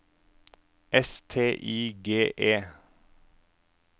S T I G E